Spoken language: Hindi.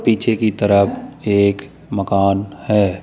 पीछे की तरफ एक मकान है।